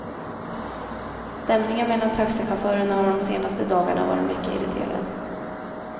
Stämningen mellan taxichaufförerna har de senaste dagarna varit mycket irriterad.